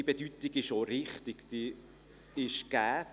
Diese Bedeutung ist gegeben.